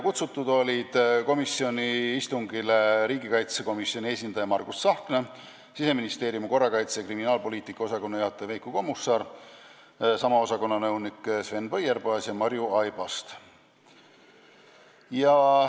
Kohale olid kutsutud ka riigikaitsekomisjoni esindaja Margus Tsahkna ning Siseministeeriumi korrakaitse- ja kriminaalpoliitika osakonna juhataja Veiko Kommusaar ja sama osakonna nõunik Sven Põierpaas ja õigusnõunik Marju Aibast.